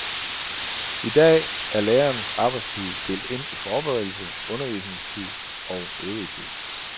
I dag er lærernes arbejdstid delt ind i forberedelse, undervisningstid og øvrig tid.